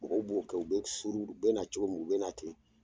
Mɔgɔw b'o kɛ, u bɛ suuru, u bɛ na cogo min , u bɛ na ten !